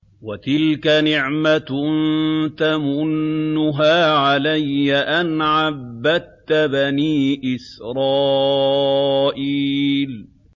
وَتِلْكَ نِعْمَةٌ تَمُنُّهَا عَلَيَّ أَنْ عَبَّدتَّ بَنِي إِسْرَائِيلَ